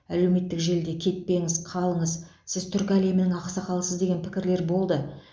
әлеуметтік желіде кетпеңіз қалыңыз сіз түркі әлемінің ақсақалысыз деген пікірлер болды